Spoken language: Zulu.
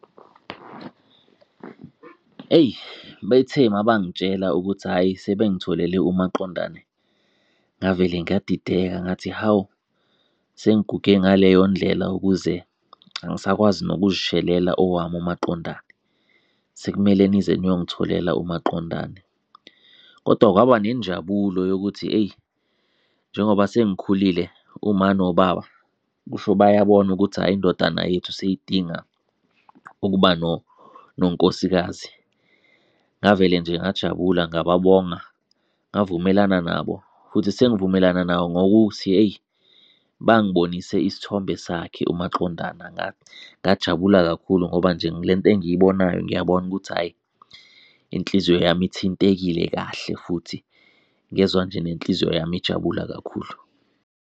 Eyi, bethe mabangitshela ukuthi hhayi sebengitholele umaqondane ngavele ngadideka ngathi hawu, sengiguge ngaleyo ndlela ukuze, angisakwazi nokuzishelela owami umaqondane, sekumele nize niyongitholela umaqondane. Kodwa kwaba nenjabulo yokuthi eyi, njengoba sengikhulile uma nobaba kusho bayabona ukuthi hhayi indodana yethu seyidinga ukuba nonkosikazi, ngavele nje ngajabula ngababonga, ngavumelana nabo. Futhi sengivumelana nabo ngokuthi eyi, bangibonise isithombe sakhe umaqondana ngajabula kakhulu ngoba nje le nto engiyibonayo ngiyabona ukuthi hhayi inhliziyo yami ithintekile, kahle futhi. Ngezwa nje nenhliziyo yami ijabula kakhulu.